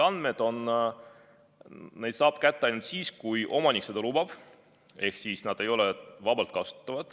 Andmeid saab kätte ainult siis, kui omanik seda lubab, need ei ole vabalt kasutatavad.